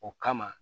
O kama